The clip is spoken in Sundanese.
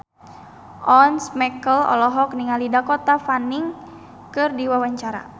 Once Mekel olohok ningali Dakota Fanning keur diwawancara